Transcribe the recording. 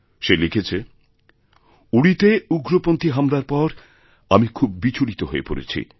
সে লিখেছে উরিতে উগ্রপন্থী হামলার পর আমি খুব বিচলিত হয়েপড়েছি